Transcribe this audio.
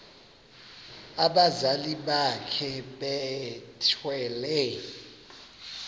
abazali bakhe bethwele